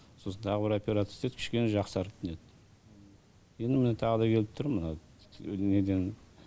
сосын тағы бір операция істетіп кішкене жақсарып неттім енді міне тағы да келіп тұрмын мына неден